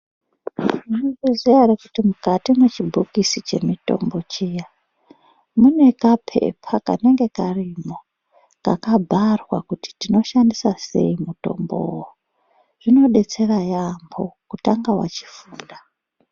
Munozviziya ere kuti mukati mwechibhokisi chemutombo muya mune kapepa kanenge karimwo kakabharwa kuti tinoshandisa sei mutombowo. Zvinodetsera yaamho kutanga wachifunda.